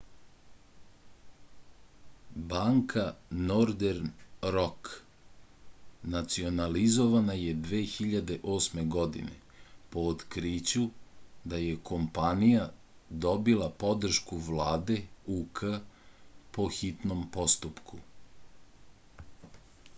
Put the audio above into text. banka nordern rok nacionalizovana je 2008. godine po otkriću da je kompanija dobila podršku vlade uk po hitnom postupku